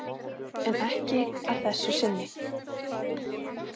En ekki að þessu sinni.